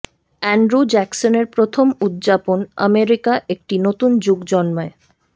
Andrew জ্যাকসনের প্রথম উদযাপন আমেরিকা একটি নতুন যুগ জন্মায়